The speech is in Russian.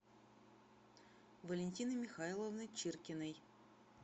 валентины михайловны чиркиной